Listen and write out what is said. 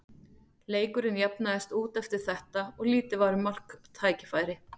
Leikurinn jafnaðist út eftir þetta og lítið var um marktækifæri.